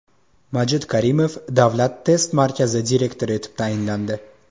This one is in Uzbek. Majid Karimov Davlat test markazi direktori etib tayinlandi.